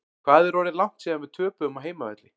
Hvað er orðið langt síðan við töpuðum á heimavelli?